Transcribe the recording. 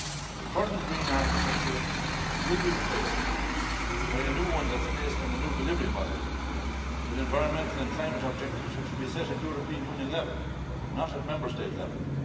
The current green architecture will be replaced by a new one that is based on the new delivery model, with environmental and climate objectives which will be set at European Union level, not at Member State level.